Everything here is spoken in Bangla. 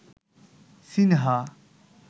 সিনহা